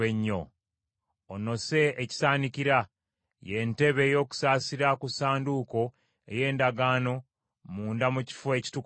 Onosse ekisaanikira, ye ntebe ey’okusaasira ku Ssanduuko ey’Endagaano munda mu Kifo Ekitukuvu Ennyo.